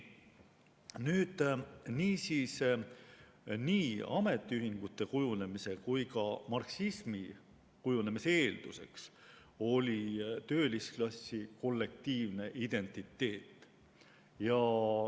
Niisiis, nii ametiühingute kui ka marksismi kujunemise eelduseks oli töölisklassi kollektiivne identiteet.